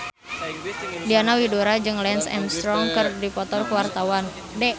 Diana Widoera jeung Lance Armstrong keur dipoto ku wartawan